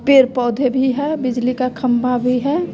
पेड़ पौधे भी है बिजली का खंबा भी है।